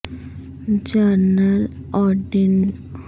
general Odierno fourth infantry division کے commander ہیں جو بغداد کے شمال میں کرکک